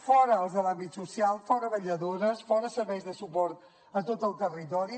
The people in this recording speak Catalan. fora els de l’àmbit social fora vetlladores fora serveis de suport a tot el territori